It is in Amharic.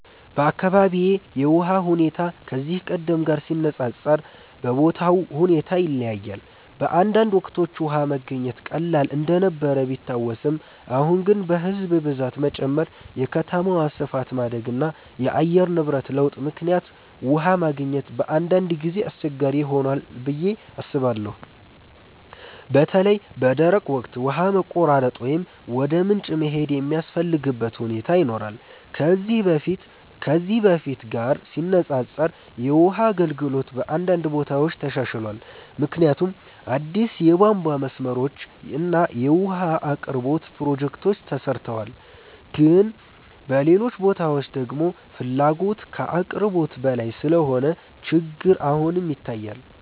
በአካባቢዬ የውሃ ሁኔታ ከዚህ ቀደም ጋር ሲነፃፀር በቦታው ሁኔታ ይለያያል። በአንዳንድ ወቅቶች ውሃ መገኘት ቀላል እንደነበር ቢታወስም፣ አሁን ግን በሕዝብ ብዛት መጨመር፣ የከተማ ስፋት ማደግ እና የአየር ንብረት ለውጥ ምክንያት ውሃ ማግኘት በአንዳንድ ጊዜ አስቸጋሪ ሆኗል ብዬ አስባለሁ። በተለይ በደረቅ ወቅት ውሃ መቆራረጥ ወይም ወደ ምንጭ መሄድ የሚያስፈልግበት ሁኔታ ይኖራል። ከዚህ በፊት ጋር ሲነፃፀር የውሃ አገልግሎት በአንዳንድ ቦታዎች ተሻሽሏል፣ ምክንያቱም አዲስ የቧንቧ መስመሮች እና የውሃ አቅርቦት ፕሮጀክቶች ተሰርተዋል። ግን በሌሎች ቦታዎች ደግሞ ፍላጎት ከአቅርቦት በላይ ስለሆነ ችግር አሁንም ይታያል።